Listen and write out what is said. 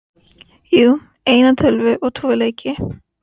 Jú, eina tölvu og tvo leiki.